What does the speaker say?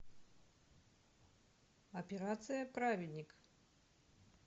операция праведник